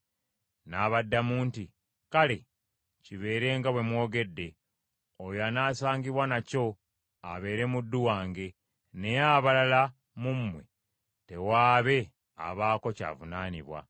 N’abaddamu nti, “Kale kibeere nga bwe mwogedde, oyo anaasangibwa nakyo abeere muddu wange, naye abalala mu mmwe tewaabe abaako ky’avunaanwa.”